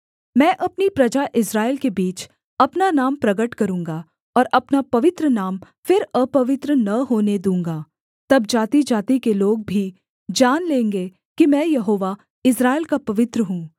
मैं अपनी प्रजा इस्राएल के बीच अपना नाम प्रगट करूँगा और अपना पवित्र नाम फिर अपवित्र न होने दूँगा तब जातिजाति के लोग भी जान लेंगे कि मैं यहोवा इस्राएल का पवित्र हूँ